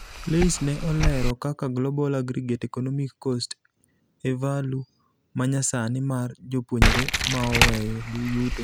LAYS ne oleero kaka global aggregate economic cost e value manyasani mar jopuonjre maoweyo yuto.